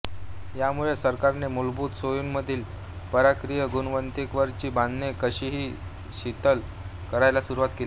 यामुळे सरकारने मूलभूत सोयींमधील परकीय गुंतवणुकीवरची बंधने काहीशी शिथिल करायला सुरुवात केली